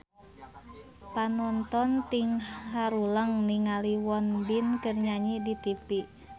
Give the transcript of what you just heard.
Panonton ting haruleng ningali Won Bin keur nyanyi di tipi